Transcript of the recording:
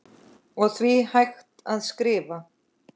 og því hægt að skrifa